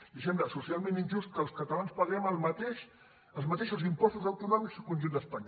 li sembla socialment injust que els catalans paguem els mateixos impostos autonòmics que el conjunt d’espanya